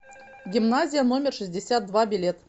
гимназия номер шестьдесят два билет